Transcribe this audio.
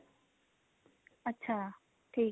ਅੱਛਾ ਠੀਕ ਐ